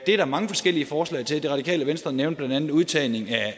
er der mange forskellige forslag til det radikale venstre nævnte blandt andet udtagning